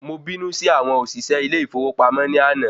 Mo bínú sí àwọn òṣìṣẹ́ ilé ìfowópamọ́ ní àná